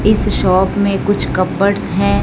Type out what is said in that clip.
इस शॉप मे कुछ है।